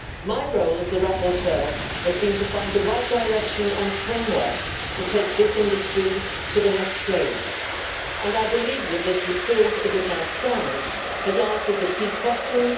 My role as rapporteur has been to find the right direction and framework to take this industry to the next stage, and I believe that this report, as it now stands, has answered the key questions.